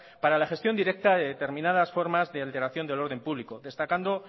para la gestión directa de determinadas formas de alteración del orden público destacando